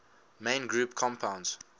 main group compounds